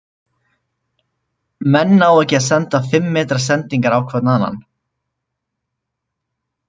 Menn ná ekki að senda fimm metra sendingar á hvorn annan.